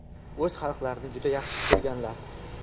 O‘z xalqlarini juda yaxshi ko‘rganlar.